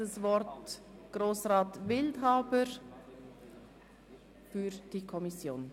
Das Wort hat Grossrat Wildhaber für die Kommission.